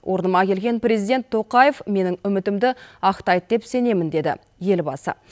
орныма келген президент тоқаев менің үмітімді ақтайды деп сенемін деді елбасы